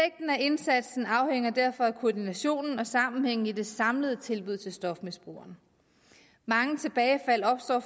indsatsen afhænger derfor af koordinationen og sammenhængen i det samlede tilbud til stofmisbrugeren mange tilbagefald opstår